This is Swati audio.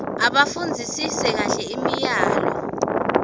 abafundzisise kahle imiyalo